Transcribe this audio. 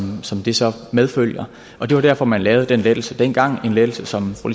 det så medfører giver det var derfor man lavede den lettelse dengang en lettelse som fru